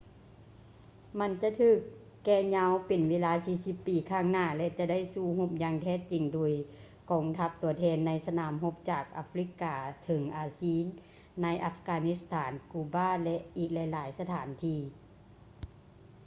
ມັນຈະຖືກແກ່ຍາວເປັນເວລາ 40 ປີຂ້າງໜ້າ ແລະ ຈະໄດ້ສູ້ຮົບຢ່າງແທ້ຈິງ ໂດຍກອງທັບຕົວແທນ ໃນສະໜາມຮົບຈາກອາຟຼິກກາເຖິງອາຊີ ໃນອັບການິດສະຖານ ກູບາ ແລະ ອີກຫຼາຍໆສະຖານທີ່